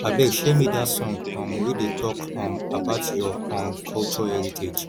abeg share me that song um wey dey talk um about your um culture heritage